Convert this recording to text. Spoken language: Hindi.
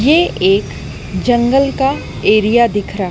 ये एक जंगल का एरिया दिख रहा--